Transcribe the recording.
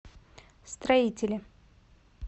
строителе